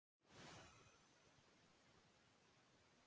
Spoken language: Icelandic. Eitthvað er svo í garð búið